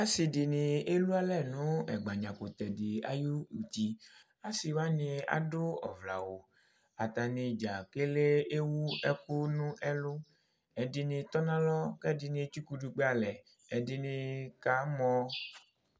asidɩnɩ elualɛ nʊ ɛgbadza kʊtɛdɩ ay'uti, asiwanɩ adʊ ɔvlɛ awu atnɩ dza kele ewu ɛkʊ n'ɛlʊ, ɛdɩnɩ tɔ nʊ alɔ, ɛdɩnɩ kamɔ